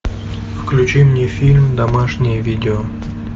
включи мне фильм домашнее видео